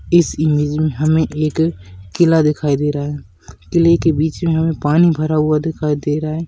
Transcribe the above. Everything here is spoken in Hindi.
इस इमेज में हमे एक किला दिखाई दे रहा है किले के बिच में पानी भरा हुआ दिखाई दे रहा है।